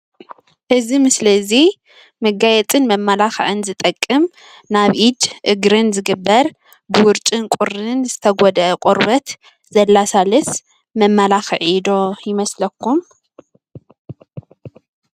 እዚ ምስሊ እዚ መጋያፅን መመላኽዕን ዝጠቀም ናብ እድን እግርን ዝግበር ብውርጭን ቁርን ዝተገደአ ቆርበት ዘለሳልስ መማላክዒ ዶ ይመስለኩም ?